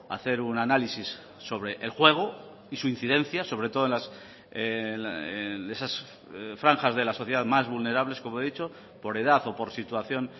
hacer un análisis sobre el juego y su incidencia sobre todo en esas franjas de la sociedad más vulnerables como he dicho por edad o por situación